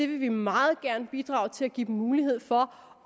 vil meget gerne bidrage til at give dem mulighed for